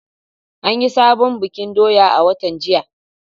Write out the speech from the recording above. An yi sabon bikin doya a watan jiya.